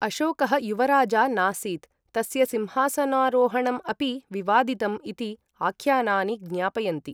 अशोकः युवराजा नासीत्, तस्य सिंहासनारोहणम् अपि विवादितम् इति आख्यानानि ज्ञापयन्ति।